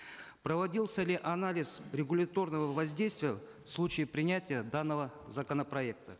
проводился ли анализ регуляторного воздействия в случае принятия данного законопроекта